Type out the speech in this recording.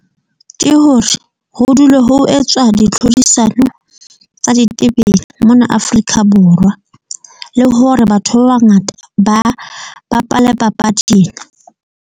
Ke hore ho dule ho etswa ditlhodisano tsa ditebele mona Afrika Borwa le hore batho ba bangata ba bapale papadi ena.